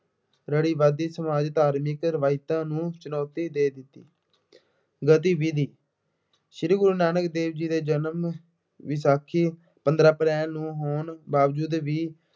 ਰੂੜ੍ਹੀਵਾਦੀ, ਸਮਾਜਿਕ, ਧਾਰਮਿਕ ਰਵਾਇਤਾਂ ਨੂੰ ਚੁਣੌਤੀ ਦੇ ਦਿੱਤੀ। ਗਤੀਵਿਧੀ ਸ਼੍ਰੀ ਗੁਰੂ ਨਾਨਕ ਦੇਵ ਜੀ ਦੇ ਜਨਮ ਵਿਸਾਖੀ ਪੰਦਰਾਂ ਅਪ੍ਰੈਲ ਨੂੰ ਹੋਣ ਬਾਵਜੂਦ ਵੀ